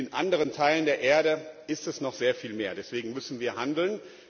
Und in anderen Teilen der Erde ist das noch sehr viel mehr. Deswegen müssen wir handeln.